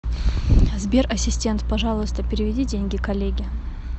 сбер ассистент пожалуйста переведи деньги коллеге